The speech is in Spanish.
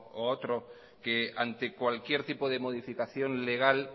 o a otro que ante cualquier tipo de modificación legal